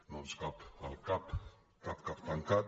no ens cap al cap cap cap tancat